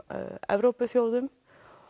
Evrópuþjóðum